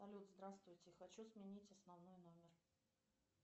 салют здравствуйте хочу сменить основной номер